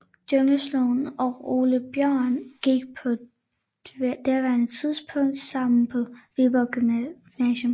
Jungslund og Ole Björn gik på daværende tidspunkt sammen på Viborg Gymnasium